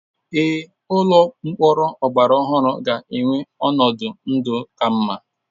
Ee, Ụlọ mkpọrọ ọgbara ọhụrụ ga-enwe ọnọdụ ndụ ka mma.